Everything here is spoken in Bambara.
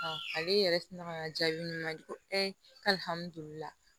Ale yɛrɛ ti na ka na jaabi ɲini ka di ko ee alihamidula